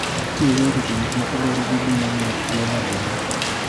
Yo ma itiyogo e rito gik moko luwore gi gima omiyo tuono otimore.